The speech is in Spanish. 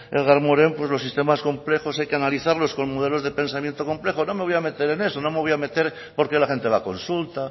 edgar morin pues los sistemas complejos hay que analizarlos con modelos de pensamiento complejo no me voy a meter en eso no me voy a meter por qué la gente va a consulta